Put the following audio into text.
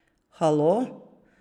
Halo?